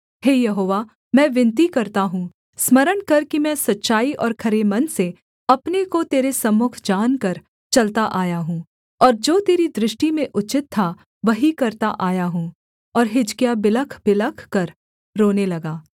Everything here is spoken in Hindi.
हे यहोवा मैं विनती करता हूँ स्मरण कर कि मैं सच्चाई और खरे मन से अपने को तेरे सम्मुख जानकर चलता आया हूँ और जो तेरी दृष्टि में उचित था वही करता आया हूँ और हिजकिय्याह बिलखबिलख कर रोने लगा